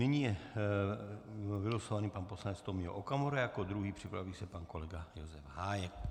Nyní je vylosovaný pan poslanec Tomio Okamura jako druhý, připraví se pan kolega Josef Hájek.